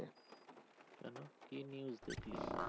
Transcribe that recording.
কেনো, কি news দেখলি?